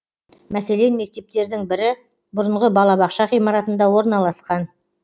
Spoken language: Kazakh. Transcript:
мәселен мектептердің бірі бұрынғы балабақша ғимаратында орналасқан